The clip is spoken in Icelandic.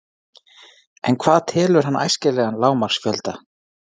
En hvað telur hann æskilegan lágmarksfjölda?